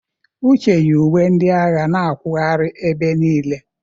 Uche yi uwe ndị agha na akwụghari ebe niile.